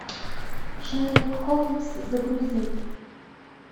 шерлок холмс загрузи